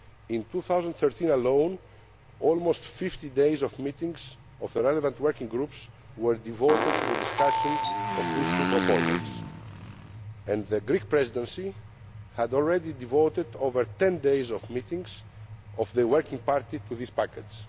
In 2013 alone, almost 50 days of meetings of the relevant working groups were devoted to the discussion of these two proposals, and the Greek Presidency had already devoted over 10 days of meetings of the Working Party to this package.